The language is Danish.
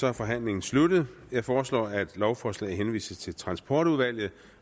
er forhandlingen sluttet jeg foreslår at lovforslaget henvises til transportudvalget